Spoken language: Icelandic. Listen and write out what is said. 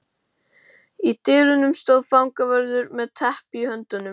Í dyrunum stóð fangavörður með teppi í höndunum.